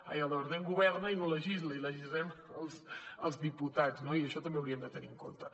ai el departament governa i no legisla i legislem els diputats no i això també ho hauríem de tenir en compte